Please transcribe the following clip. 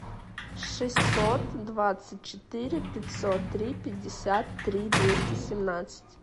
шестьсот двадцать четыре пятьсот три пятьдесят три двести семнадцать